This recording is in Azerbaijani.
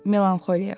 Melanxoliya.